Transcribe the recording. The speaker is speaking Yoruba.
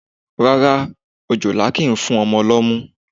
Rárá òjòlá kìí fún ọmọ lọ́mú.